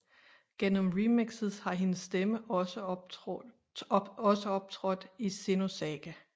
Gennem remixes har hendes stemme også optrådt i Xenosaga III